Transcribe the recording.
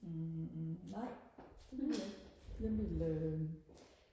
hm nej det ville jeg ikke jeg ville øhm